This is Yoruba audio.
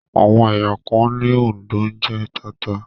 Àwọn ẹ̀yà kan ní Òǹdó ń jẹ tata